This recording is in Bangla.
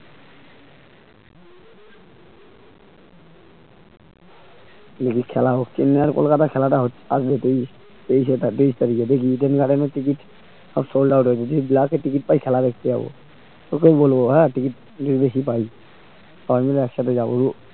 এই যে খেলা হচ্ছে চেন্নাই আর কলকাতা খেলাটা হচ্ছে আর যে team sold out এ যদি black এ ticket পাই তাহলে খেলা দেখতে যাবো তোকেও বলবো হ্যাঁ ticket যদি বেশি পাই সবাই মিলে একসাথে যাবো